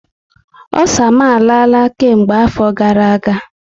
Osa m arala kemgbe afọ gara aga